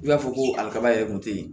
I b'a fɔ ko a kaba yɛrɛ kun tɛ yen